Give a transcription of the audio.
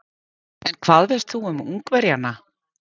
En hvað veist þú um Ungverjana?